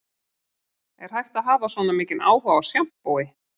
Er hægt að hafa svona mikinn áhuga á sjampói